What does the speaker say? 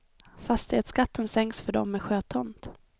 Fastighetsskatten sänks för dem med sjötomt.